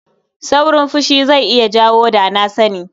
Saurin fushi zai iya jawo da-na-sani.